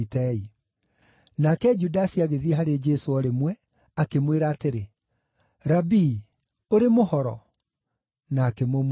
Nake Judasi agĩthiĩ harĩ Jesũ o rĩmwe, akĩmwĩra atĩrĩ, “Rabii, ũrĩ mũhoro!” na akĩmũmumunya.